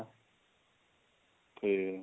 ok